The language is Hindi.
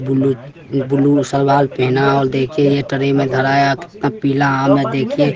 कितना पीला आम है देखिये।